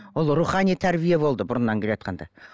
ол рухани тәрбие болды бұрыннан келе жатқанда